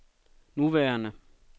nuværende